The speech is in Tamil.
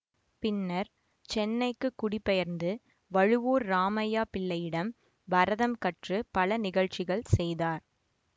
பின்னர் சென்னைக்கு குடி பெயர்ந்து வழுவூர் ராமையா பிள்ளையிடம் பரதம் கற்று பல நிகழ்ச்சிகள் செய்தார்